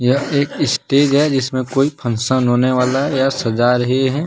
यह एक स्टेज है जिसमें कोई फंगसन होने वाला है यह सजा रहे है।